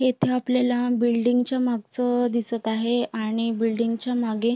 इथे आपल्याला बिल्डिंग च्या मागच अ दिसत आहे आणि बिल्डिंग च्या मागे--